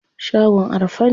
Shagon a rufe ne.